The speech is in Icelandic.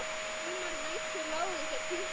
Sumar nætur lágu þeir klukku